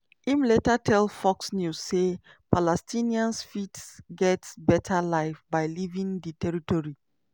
im later tell fox news say palestinians fit get "beta life" by leaving di territory.